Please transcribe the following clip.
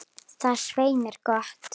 Það er svei mér gott.